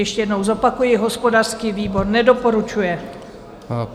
Ještě jednou zopakuji, hospodářský výbor nedoporučuje.